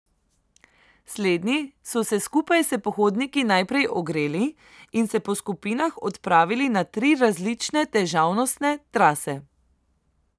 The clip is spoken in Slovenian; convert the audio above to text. Slednji so se skupaj s pohodniki najprej ogreli in se po skupinah odpravili na tri različne težavnostne trase.